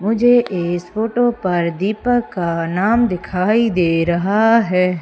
मुझे इस फोटो पर दीपक का नाम दिखाई दे रहा है।